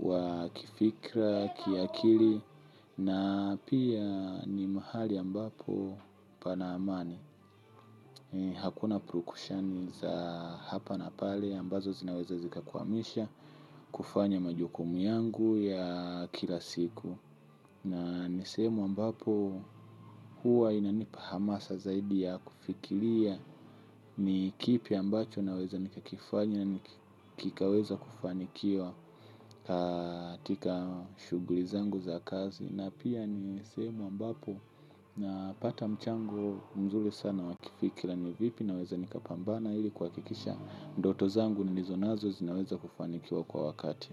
wa kifikra, kiakili. Na pia ni mahali ambapo panaamani. Hakuna prokushani za hapa na pale ambazo zinaweza zikakwamisha kufanya majukumu yangu ya kila siku. Na nisehemu ambapo huwa inanipa hamasa zaidi ya kufikiria ni kipi ambacho naweza nikakifanya na kikaweza kufanikiwa katika shuguli zangu za kazi. Na pia ni sehemu ambapo napata mchango mzuri sana wakifikira ni vipi naweza nikapambana ili kuhakikisha ndoto zangu nilizonazo zinaweza kufanikiwa kwa wakati.